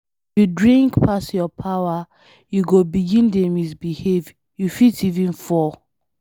If you drink pass your power, you go begin dey misbehave, you fit even fall.